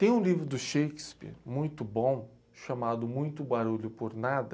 Tem um livro do Shakespeare muito bom, chamado Muito Barulho por Nada,